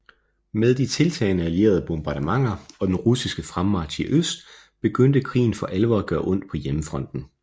Med de tiltagende allierede bombardementer og den russiske fremmarch i øst begyndte krigen for alvor at gøre ondt på hjemmefronten